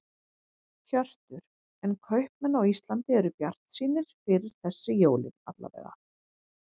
Hjörtur: En kaupmenn á Íslandi eru bjartsýnir fyrir þessi jólin alla vega?